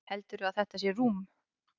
Heldurðu að þetta sé rúm?